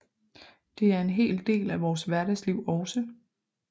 Det er en hel del af vores hverdagsliv også